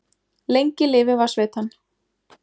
Lengi lifi Vatnsveitan!